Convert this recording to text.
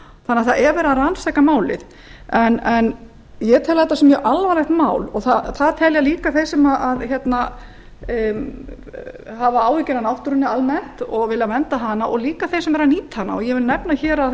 að það er verið að rannsaka málið ég tel þetta mjög alvarlegt mál og það telja líka þeir sem hafa áhyggjur af náttúrunni almennt og vilja vernda hana og jafnframt þeir sem nýta hana ég vil nefna að